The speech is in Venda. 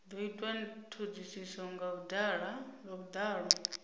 do itwa thodisiso nga vhudalo